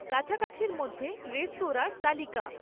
কাছাকাছির মধ্যে রেস্তরাঁর তালিকা